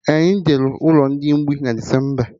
Anyị jere ụlọ mgbei na Decemba